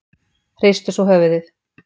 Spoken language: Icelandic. Hristu svo höfuðið.